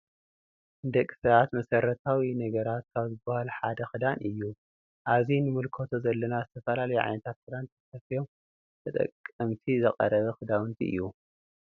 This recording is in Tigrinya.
ንደቂ ሰባት መስረታዊ ነገራተ ካብ ዝበሃሉ ሓደ ክዳን እዩ። አብዚ ንምልከቶ ዘለና ዝተፈላለዩ ዓይነታት ክዳን ተሰፊዮም ንተጠቀመቲ ዝቀረበ ክዳውቲ እዩ።